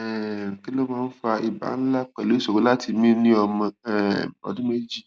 um kini o fa iba nla pelu isoro lati mi ni omo um odun meji